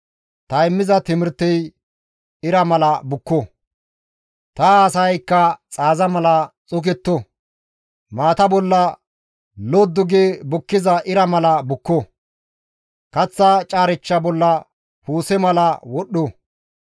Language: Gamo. Ta immiza timirtey ira mala bukko; ta haasayaykka xaaza mala xoketto; maata bolla loddi gi bukkiza ira mala bukko; kaththa caarechcha bolla puuse mala wodhdho.